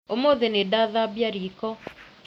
ũmũthĩ nĩndathambia riko